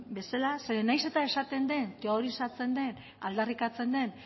bezala zeren nahiz eta esaten den teorizatzen den aldarrikatzen den